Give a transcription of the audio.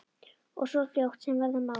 Og svo fljótt sem verða má.